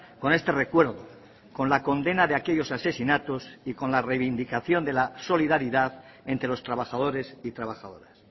con este recuerdo con la condena de aquellos asesinatos y con la reivindicación de la solidaridad entre los trabajadores y trabajadoras